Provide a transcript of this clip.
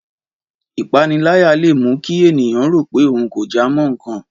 Ìpaniláyà leè mú kí ènìyàn rò pé ohun kò jámọ́ nkan